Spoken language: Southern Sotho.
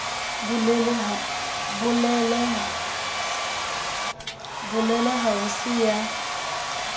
bulele ha ho se ya